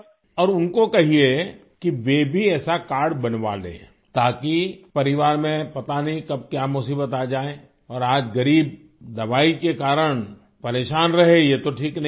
اور ان کو کہئے کہ وہ بھی ایسا کارڈ بنوالیں تاکہ خاندان میں پتہ نہیں کب کیا مصیبت آجائے اور آج غریب دوا کی وجہ سے پریشان رہے یہ تو ٹھیک نہیں ہے